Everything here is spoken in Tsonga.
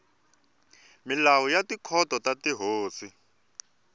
milawu ya tikhoto ta tihosi